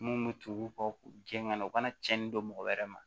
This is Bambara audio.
Mun bɛ tumu kɔ gɛn ŋa na u kana tiɲɛni dɔn mɔgɔ wɛrɛ ma